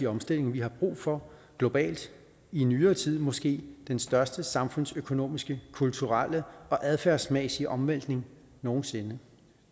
omstilling vi har brug for globalt i nyere tid måske den største samfundsøkonomiske kulturelle og adfærdsmæssige omvæltning nogen sinde